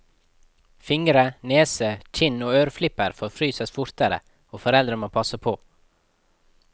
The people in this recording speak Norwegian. Fingre, nese, kinn og øreflipper forfryses fortere, og foreldre må passe på.